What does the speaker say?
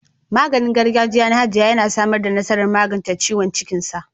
Maganin gargajiya na hajiya ya samu nasarar magance ciwon cikinsa.